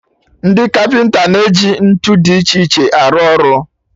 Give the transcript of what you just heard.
Ndị kapịnta na-eji ntụ dị iche iche arụ ọrụ